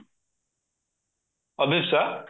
Abhipsa